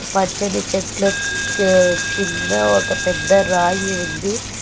పచ్చని చెట్ల కింద ఒక పెద్ద రాయి ఉంది.